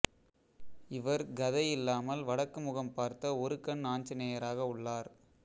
இவர் கதை இல்லாமல் வடக்குமுகம் பார்த்த ஒரு கண் ஆஞ்சநேயராக உள்ளார்